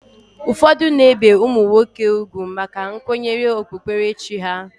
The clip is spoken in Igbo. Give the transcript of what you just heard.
Ụfọdụ na-ebe ụmụ nwoke ugwu maka nkwenye okpukperechi ha